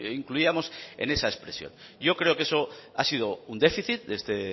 incluíamos en esa expresión yo creo que eso ha sido un déficit de este